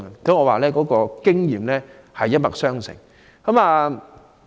因此，我認為經驗是一脈相承的。